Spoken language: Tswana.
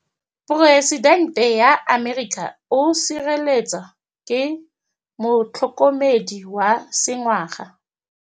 Poresitêntê wa Amerika o sireletswa ke motlhokomedi wa sengaga.